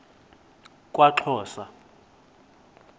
kwaxhosa